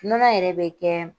Nɔnɔ yɛrɛ bɛ kɛ